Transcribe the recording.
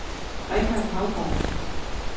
Richard Haugaard